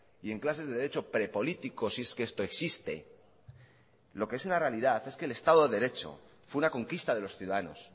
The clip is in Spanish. y en clases de derecho prepolítico si es que esto existe lo que es una realidad es que el estado de derecho fue una conquista de los ciudadanos